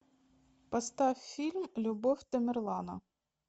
поставь фильм любовь тамерлана